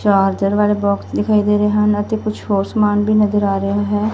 Charger ਵਾਲੇ box ਦਿਖਾਈ ਦੇ ਰਹੇ ਹਨ ਅਤੇ ਕੁਛ ਹੋਰ ਸਮਾਨ ਵੀ ਨਜ਼ਰ ਆ ਰਿਹਾ ਹੈ।